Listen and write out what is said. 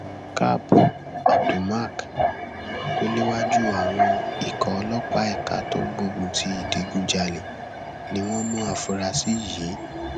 kap abdulmak tó léwájú àwọn ikọ ọlọpàá ẹka tó ń gbógun ti ìdígunjalè ni wọn mú àfúrásì yìí